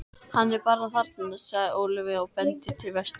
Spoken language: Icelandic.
Hann er bara þarna, segir Ólafía og bendir til vesturs.